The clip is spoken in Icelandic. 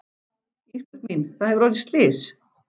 Ísbjörg mín það hefur orðið slys.